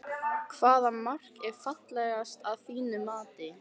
Hvaða mark er fallegast að þínu mati?